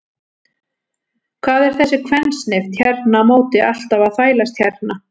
Hvað er þessi kvensnift hérna á móti alltaf að þvælast hérna?